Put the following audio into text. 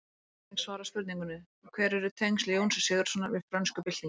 Hér er einnig svarað spurningunni: Hver eru tengsl Jóns Sigurðssonar við frönsku byltinguna?